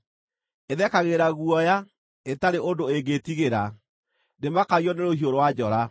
Ĩthekagĩrĩra guoya, ĩtarĩ ũndũ ĩngĩtigĩra; ndĩmakagio nĩ rũhiũ rwa njora.